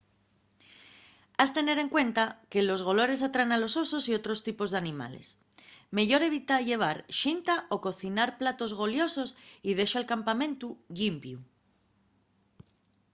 has tener en cuenta que los golores atraen a los osos y otros tipos d'animales meyor evita llevar xinta o cocinar platos goliosos y dexa'l campamentu llimpiu